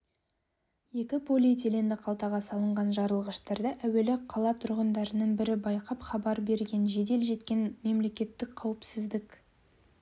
екі полиэтиленді қалтаға салынған жарылғыштарды әуелі қала тұрғындарының бірі байқап хабар берген жедел жеткен мемлекеттік қауіпсіздік